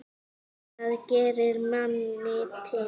Það gerir minna til.